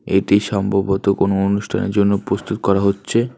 এটি সম্ভবত কোন অনুষ্ঠানের জন্য প্রস্তুত করা হচ্ছে।